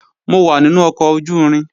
Mo wà nínú ọkọ̀ ojú-irin